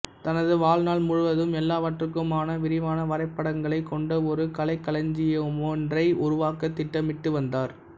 தனது வாழ்நாள் முழுவதும் எல்லாவற்றுக்குமான விரிவான வரைபடங்களைக் கொண்ட ஒரு கலைக்களஞ்சியமொன்றை உருவாக்கத் திட்டமிட்டுவந்தார்